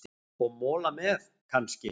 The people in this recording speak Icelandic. Og mola með, kannski?